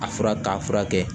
A fura k'a furakɛ